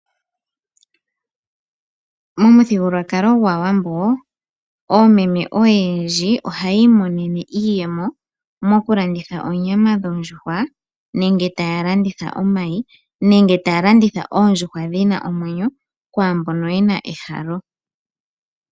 Momuthigululwakalo gwaawambo, oomeme oyendji ohayi imonene iiyemo mokulanditha oonyama dhoondjuhwa nenge taya landitha omayi nenge taya landitha oondjuhwa dhina omwenyo kwamboka yena ehalo.